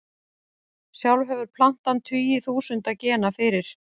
Sjálf hefur plantan tugi þúsunda gena fyrir.